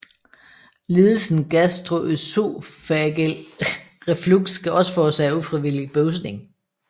Lidelsen gastroøsofageal reflux kan også forårsage ufrivillig bøvsning